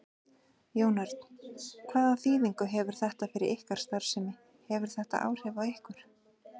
Jón Örn: Hvaða þýðingu hefur þetta fyrir ykkar starfsemi, hefur þetta áhrif á ykkur?